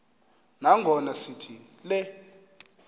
nangona sithi le